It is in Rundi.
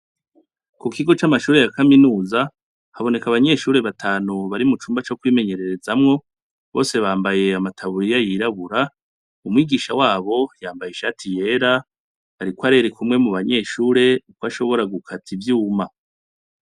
Kukigo c'amashuri yakaminuza haboneka abanyeshure batanu bari mucumba cokwimenyerezamwo. Bose bambaye amataburiya yirabura, umwigisha wabo yambaye ishati yera. Ariko arereka umwe mubanyeshue kwashobora gukata ivyuma.